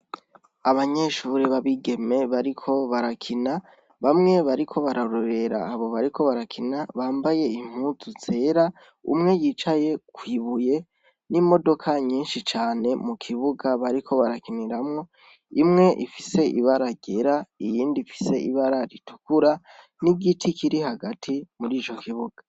Abanyeshuri babigeme bariko barakina bamwe bariko bararorera abo bariko barakina bambaye imputu zera umwe yicaye kwibuye n'imodoka nyinshi cane mu kibuga bariko barakiniramwo imwe ifise ibara ryera iyindi ifise ibara ritukura ni igiti kiri hagati muri ico kibuga.